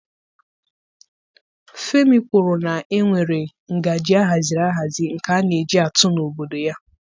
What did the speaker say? Femi kwuru na e nwere ngaji ahaziri ahazi nke a na-eji atụ n'obodo ya